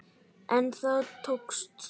En það tókst.